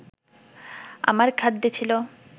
আমার খাদ্যে ছিল